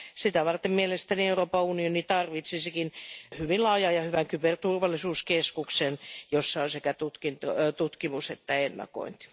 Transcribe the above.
Sitä varten mielestäni Euroopan unioni tarvitsisikin hyvin laajan ja hyvän kyberturvallisuuskeskuksen, jossa on sekä tutkimusta että ennakointia.